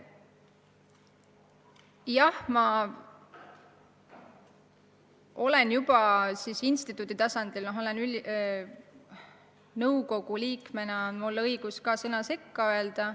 Jah, ma olen juba instituudi tasandil seda rääkinud – nõukogu liikmena on mul õigus sõna sekka öelda.